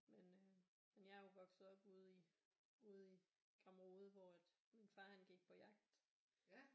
Men øh men jeg er jo vokset op ude i ude i Gramrode hvor at man far gik på jagt